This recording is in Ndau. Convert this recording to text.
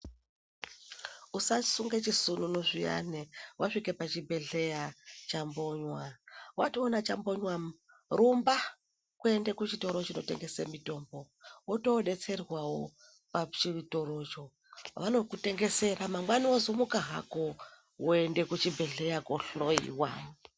Usasunge chisununu zviyani wasvike pachibhedhleya chambonywa. Watoona chambonywa, rumba kuende kuchitoro chinotengese mitombo wotoodetserwawo pachitorocho. Vanokutengesera, mangwani wozomuka hako woende kuchibhedhlera koohloiwa.